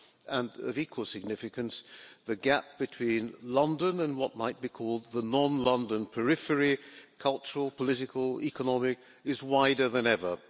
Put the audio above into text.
And, of equal significance, the gap between London and what might be called the non London periphery, whether cultural, political or economic, is wider than ever.